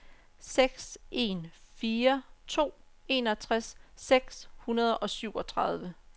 seks en fire to enogtres seks hundrede og syvogtredive